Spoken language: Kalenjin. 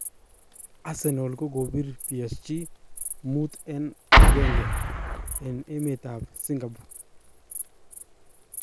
Arsenal kokopir psg5_1 en emet ap Singapore